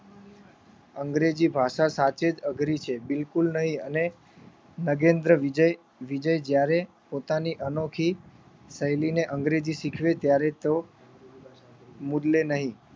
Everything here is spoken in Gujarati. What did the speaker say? અંગ્રેજી ભાષા સાચે જ અઘરી છે. બિલકુલ નહીં અને નગેન્દ્ર વિજય વિજય જયારે પોતાની અનોખી શૈલીને અંગ્રેજી શિખવે ત્યારે તો મૂલવે નહીં